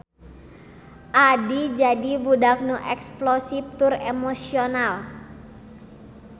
Addie jadi budak nu eksplosif tur emosional.